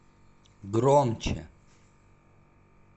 громче